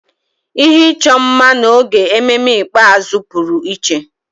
Ihe ịchọ mma n'oge ememme ikpeazụ pụrụ iche.